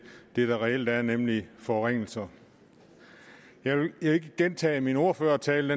det det reelt er nemlig forringelser jeg vil ikke gentage min ordførertale